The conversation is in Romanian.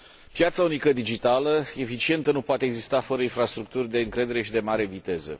Piața unică digitală eficientă nu poate exista fără infrastructuri de încredere și de mare viteză.